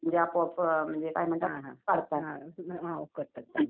म्हणजे आपोआप पाण्यात